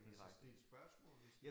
Kan man så stille spørgsmål?